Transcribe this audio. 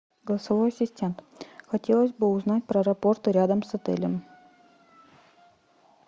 голосовой ассистент хотелось бы узнать про аэропорты рядом с отелем